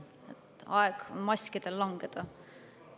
On aeg maskidel langeda.